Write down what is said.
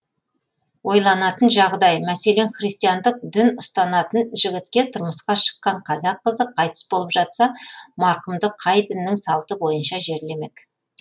ойланатын жағдай мәселен христиандық дін ұстанатын жігітке тұрмысқа шыққан қазақ қызы қайтыс болып жатса марқұмды қай діннің салты бойынша жерлемек